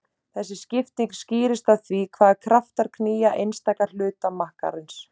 Þessi skipting skýrist af því hvaða kraftar knýja einstaka hluta makkarins.